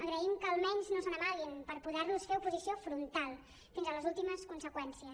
agraïm que almenys no se n’amaguin per poder los fer oposició frontal fins a les últimes conseqüències